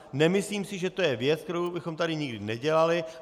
Nemyslím si, že to je věc, kterou bychom tady nikdy nedělali.